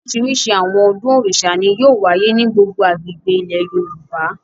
Oríṣiríṣi àwọn ọdún Òrìṣà ni yóò wáyé ní gbogbo agbègbè ilẹ̀ Yorùbá.